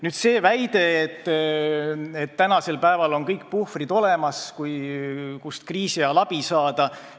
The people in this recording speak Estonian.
Nüüd sellest väitest, et tänasel päeval on olemas kõik puhvrid, kust kriisi ajal abi saada.